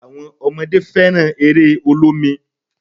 Àwọn ọmọdé fẹ́ràn eré olómi